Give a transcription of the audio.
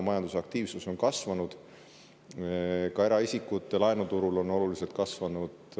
Majandusaktiivsus on kasvanud, ka eraisikute laenuturul on oluliselt kasvanud.